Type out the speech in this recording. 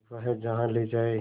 वह जहाँ ले जाए